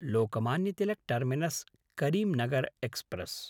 Lokmanya Tilak टर्मिनस्–करींनगर् express